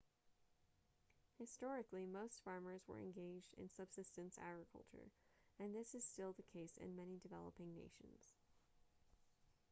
historically most farmers were engaged in subsistence agriculture and this is still the case in many developing nations